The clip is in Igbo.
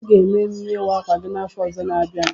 I ga-eme emume ịwa akwa gị afọ ọzọ n'abia.